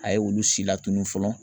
A ye olu si latunu fɔlɔ.